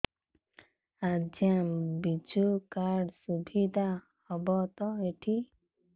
ଆଜ୍ଞା ବିଜୁ କାର୍ଡ ସୁବିଧା ହବ ତ ଏଠି